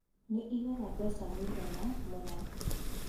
Nĩ ĩigaga mbeca mũigana mũna